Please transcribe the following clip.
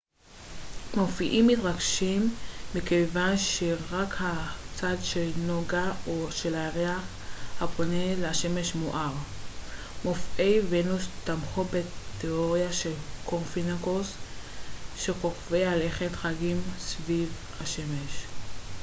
מופעים מתרחשים מכיוון שרק הצד של נוגה או של הירח הפונה לשמש מואר. מופעי ונוס תמכו בתיאוריה של קופרניקוס שכוכבי הלכת חגים סביב השמש